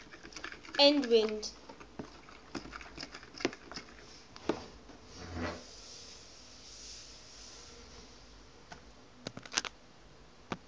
edwind